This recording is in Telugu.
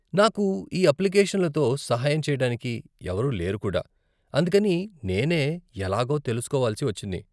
నాకు ఈ అప్లికేషన్లతో సహాయం చేయటానికి ఎవరూ లేరు కుడా, అందుకని నేనే ఎలాగో తెలుసుకోవలసి వచ్చింది.